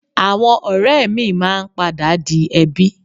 Àwọn ọ̀rẹ́ míì máa ń padà di ẹbí